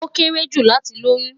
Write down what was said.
Ó kéré jù láti lóyún